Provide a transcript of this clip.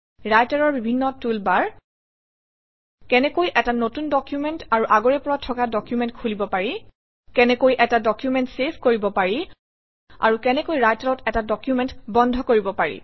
ৰাইটাৰৰ বিভিন্ন toolbar কেনেকৈ এটা নতুন ডকুমেণ্ট আৰু আগৰে পৰা থকা ডকুমেণ্ট খুলিব পাৰি কেনেকৈ এটা ডকুমেণ্ট চেভ কৰিব পাৰি আৰু কেনেকৈ ৰাইটাৰত এটা ডকুমেণ্ট বন্ধ কৰিব পাৰি